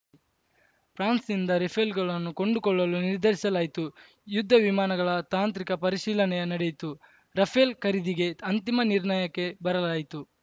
ಫ್ರಾನ್ಸ್‌ನಿಂದ ರಫೇಲ್‌ಗಳನ್ನು ಕೊಂಡುಕೊಳ್ಳಲು ನಿರ್ಧರಿಸಲಾಯಿತು ಯುದ್ಧವಿಮಾನಗಳ ತಾಂತ್ರಿಕ ಪರಿಶೀಲನೆಯೇ ನಡೆಯಿತು ರಫೇಲ್‌ ಖರೀದಿಗೆ ಅಂತಿಮ ನಿರ್ಣಯಕ್ಕೆ ಬರಲಾಯಿತು